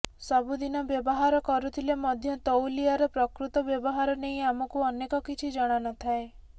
ସବୁ ଦିନ ବ୍ୟବହାର କରୁଥିଲେ ମଧ୍ୟ ତଉଲିଆର ପ୍ରକୃତ ବ୍ୟବହାର ନେଇ ଆମକୁ ଅନେକ କିଛି ଜଣାନଥାଏ